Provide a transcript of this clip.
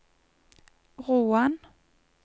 Roan